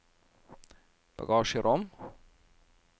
bagasjerom